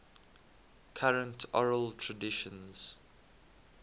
current oral traditions